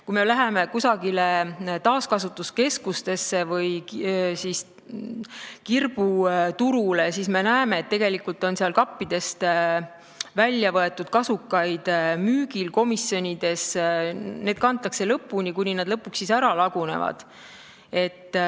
Kui me läheme taaskasutuskeskusesse või kirbuturule, siis me näeme, et tegelikult on kappidest väljavõetud kasukaid müügil, need kantakse lõpuni, kuni nad lõpuks ära lagunevad.